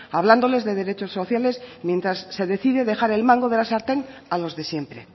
hablándoles de derechos sociales mientras se decide dejar el mango de la sartén a los de siempre